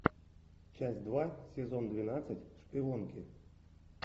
часть два сезон двенадцать шпионки